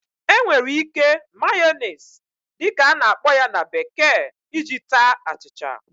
E nwere ike"Mayonnaise" dị ka a na-akpọ ya na bekee iji taa achịcha